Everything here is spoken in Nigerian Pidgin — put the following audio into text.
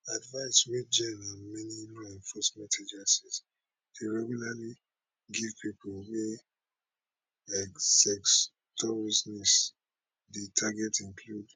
advice wey jenn and many law enforcement agencies dey regularly give pipo wey sex dey target include